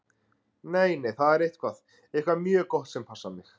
Nei, nei, það er eitthvað. eitthvað mjög gott sem passar mig.